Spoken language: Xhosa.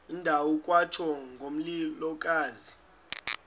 ndawo kwatsho ngomlilokazi